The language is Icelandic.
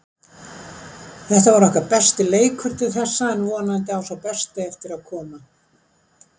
Þetta var okkar besti leikur til þessa en vonandi á sá besti eftir að koma.